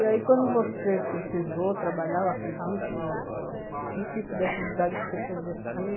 E aí quando você precisou trabalhar, eu acredito, é... que tipo de atividade que você foi exercer?